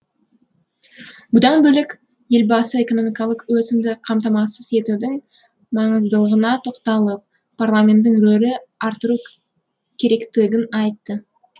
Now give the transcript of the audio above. бұдан бөлек елбасы экономикалық өсімді қамтамасыз етудің маңыздылығына тоқталып парламенттің рөлін арттыру керектігін айтты